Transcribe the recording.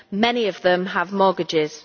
many of them have mortgages.